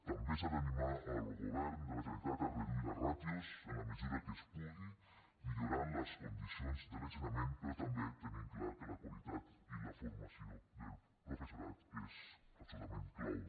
també s’ha d’animar el govern de la generalitat a reduir les ràtios en la mesura que es pugui millorant les condicions de l’ensenyament però també tenint clar que la qualitat i la formació del professorat és absolutament clau